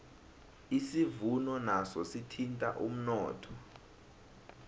isivuno naso sithinta umnotho